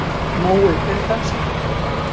Mói, hver er dagsetningin í dag?